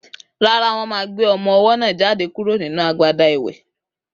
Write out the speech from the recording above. Rárá, wọn ma gbé ọmọ owó náà jáde kúrò nínú agbada ìwè